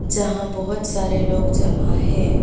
यहां बहुत सारे लोग जमा है।